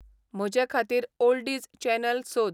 म्हजेखातीर oldies channel सोद